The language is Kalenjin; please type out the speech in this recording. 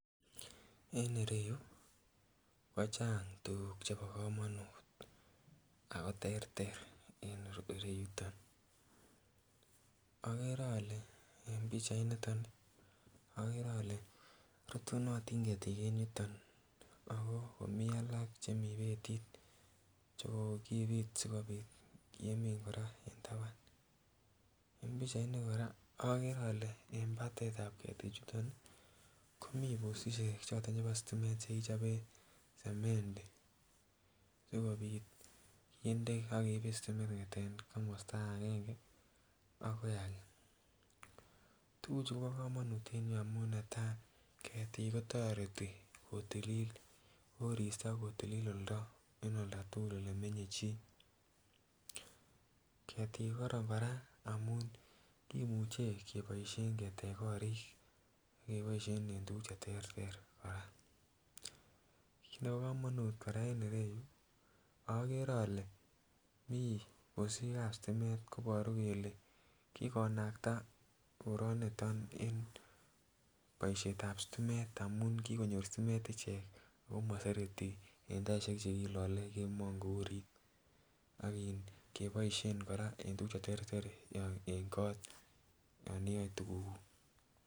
En ireyu kochang tuguk chebo komonut ako terter en ireyuton, okere ole en pichait niton ih okere ole rutunotin ketik en yuton akomii alak chemii betit chekokibit sikobit kemin kora en taban en pichait ni kora okere ole en batetab ketikchuton ih komii postisiek choton chebo stimet chekikichoben semendi sikobit kinde akeiben stimet kong'eten komosta agenge akoi age. Tuguchu kobo komonut en yuu amun netaa ketiik kotoreti kotilil koristo, kotilil oldo en oldatugul elemenye chii. Ketik koron kora amun kimuche keboisien ketech korik akeboisien en tuguk cheterter kora. Kit nebo komonut kora en ireyu okere ole mii postisiek ab stimet koboru kele kikonakta koroniton en boisietab stimet amun kikonyor stimet ichek oh mosereti en taisiek chekilole kemoo ngourit ak in keboisien kora en tuguk cheterter en kot yon iyoe tuguk kuk